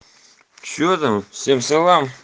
что там всем салам